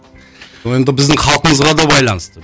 ол енді біздің халқымызға да байланысты